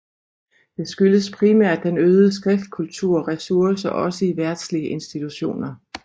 Det skyldes primært den øgede skriftkultur og ressourcer også i verdslige institutioner